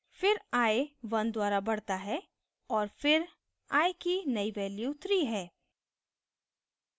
फिर i 1 द्वारा बढता है और फिर i की नई value 3 है